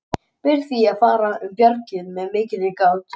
Ber því að fara um bjargið með mikilli gát.